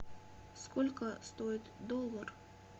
сколько стоит доллар